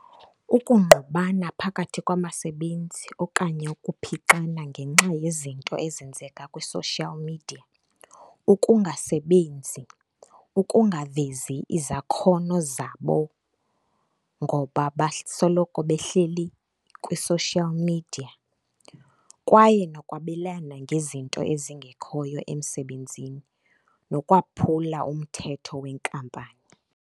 Ukungqubana phakathi kwabasebenzi okanye ukuphixana ngenxa yezinto ezenzeka kwi-social media. Ukungasebenzi, ukungavezi izakhono zabo ngoba basoloko behleli kwi-social media, kwaye nokwabelana ngezinto ezingekhoyo emsebenzini nokwaphula umthetho wenkampani.